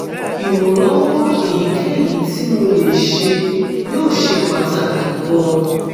ìrànlọ́wọ́ èyíkéyìí tí mo lè ṣe yóò ṣe pàtàkì gan-an